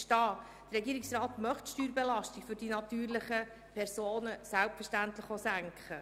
Der Regierungsrat möchte die Steuerbelastung für die natürlichen Personen selbstverständlich senken.